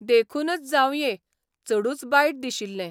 देखूनच जावंये, चडूच बायट दिशिल्ले.